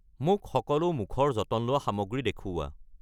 মোক সকলো মুখৰ যতন লোৱা সামগ্ৰী দেখুওৱা।